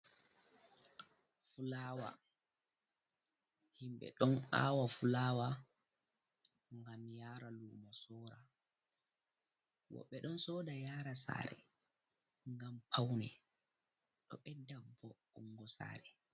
Fulawa, himbe don awa fulawa gam yara lumo sora woɓe don soda yara sare gam paune do bedda vo'ungo sare.